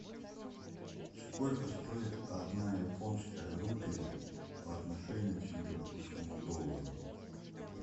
сколько стоит одна японская рупия по отношению к сингапурскому доллару